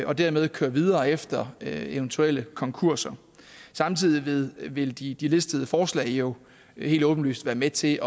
og dermed køre videre efter eventuelle konkurser samtidig vil de de listede forslag jo helt åbenlyst være med til